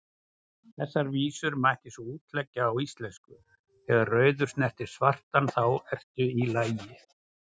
Þessar vísur mætti svo útleggja á íslensku: Þegar rauður snertir svartan, þá ertu í lagi,